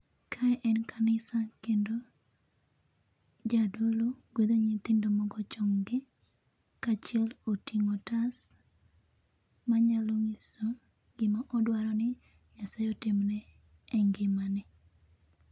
Kae en kanisa, kendo Jadolo gwedho nyithindo mogo chonggi, ka achiel oting'o otas manyalo nyiso gima odwaro ni Nyasaye otimne e ngima ne.